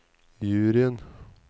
juryen